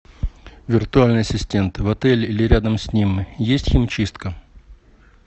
виртуальный ассистент в отеле или рядом с ним есть химчистка